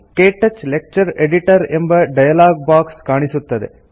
ಕ್ಟಚ್ lecture editor ಎಂಬ dialogue box ಕಾಣಿಸುತ್ತದೆ